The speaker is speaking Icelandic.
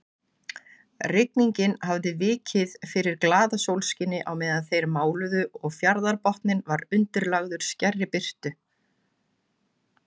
Rigningin hafði vikið fyrir glaðasólskini á meðan þeir máluðu og fjarðarbotninn var undirlagður skærri birtu.